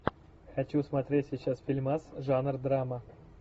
хочу смотреть сейчас фильмас жанр драма